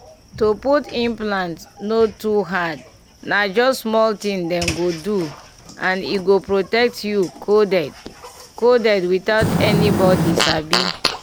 to put implant no too hard na just small thing dem go do and e go protect you coded coded without anybody sabi.